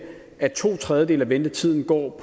at to tredjedele af ventetiden går